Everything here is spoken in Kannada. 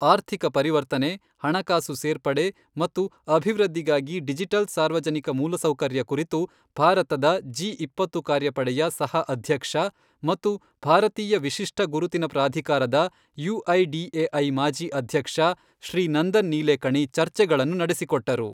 ಆರ್ಥಿಕ ಪರಿವರ್ತನೆ, ಹಣಕಾಸು ಸೇರ್ಪಡೆ ಮತ್ತು ಅಭಿವೃದ್ಧಿಗಾಗಿ ಡಿಜಿಟಲ್ ಸಾರ್ವಜನಿಕ ಮೂಲಸೌಕರ್ಯ ಕುರಿತು ಭಾರತದ ಜಿ ಇಪ್ಪತ್ತು ಕಾರ್ಯಪಡೆಯ ಸಹ ಅಧ್ಯಕ್ಷ ಮತ್ತು ಭಾರತೀಯ ವಿಶಿಷ್ಟ ಗುರುತಿನ ಪ್ರಾಧಿಕಾರದ ಯುಐಡಿಎಐ ಮಾಜಿ ಅಧ್ಯಕ್ಷ ಶ್ರೀ ನಂದನ್ ನೀಲೇಕಣಿ ಚರ್ಚೆಗಳನ್ನು ನಡೆಸಿಕೊಟ್ಟರು.